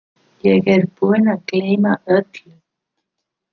Ég er búinn að gleyma öllu!